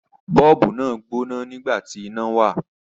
Bọ́ọ̀bù náà gbóná nígbà tí iná wà.